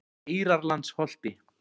Eyrarlandsholti